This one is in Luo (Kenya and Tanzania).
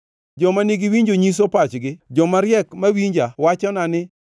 “Joma nigi winjo nyiso pachgi joma riek mawinja wachona ni,